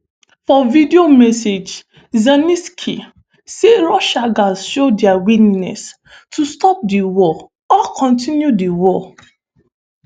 for video message zelensky say russia gatz "show dia willingness to stop di war or continue di war".